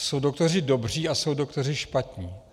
Jsou doktoři dobří a jsou doktoři špatní.